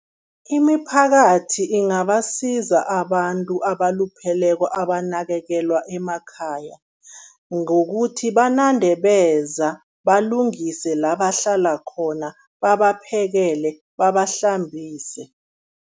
Imiphakathi ingabasiza abantu abalupheleko abanakekelwa emakhaya, ngokuthi banande beza, balungise la bahlala khona, babaphekele, babahlambise.